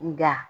Nga